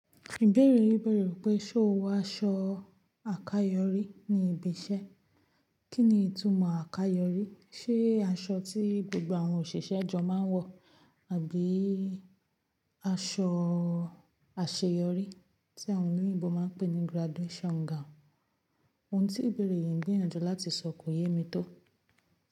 Ìbéèrè yìí bẹ̀rẹ̀ wi pé ṣo wọ aṣọ àkayòrí ní ibi iṣẹ́? Kí ni ìtumọ̀ àkayòrí? Ṣé aṣọ tí gbogbo àwọn òṣìṣẹ́ jo máa ń wọ̀ àbí aṣọ àṣeyọrí tí àwọn oloyinbo máa ń pè ní graduation gown? Ohun tí ìbéèrè yìí ń gbìyànjú láti sọ kò yé mi tó.